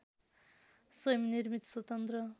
स्वयं निर्मित स्वतन्त्र